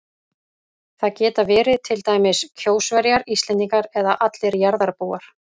Það geta verið til dæmis Kjósverjar, Íslendingar eða allir jarðarbúar.